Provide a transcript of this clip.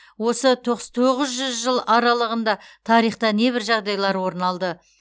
осы тоңыз жүз жыл аралығында тарихта небір жағдайлар орын алды